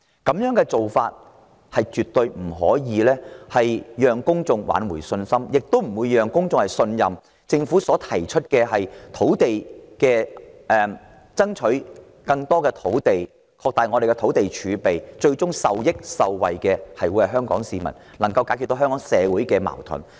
這種做法絕不能挽回公眾的信心，亦無法取信於公眾，令他們相信政府爭取更多土地、擴大土地儲備的方案，最終能令香港市民受益受惠，能解決香港社會的矛盾。